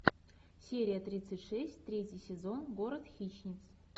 серия тридцать шесть третий сезон город хищниц